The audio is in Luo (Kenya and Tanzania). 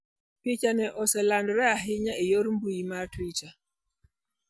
Pichano oselandore ahinya e yor mbuyi mar Twitter.